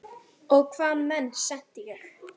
Og hvaða menn sendi ég?